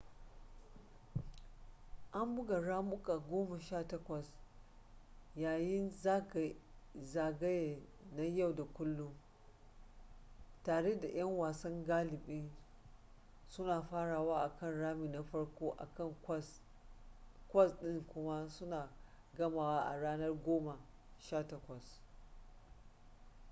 an buga ramuka goma sha takwas yayin zagaye na yau da kullun tare da yan wasa galibi suna farawa akan rami na farko akan kwas ɗin kuma suna gamawa a ranar goma sha takwas